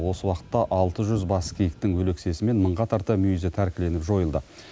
осы уақытта алты жүз бас киіктің өлексесі мен мыңға тарта мүйізі тәркіленіп жойылды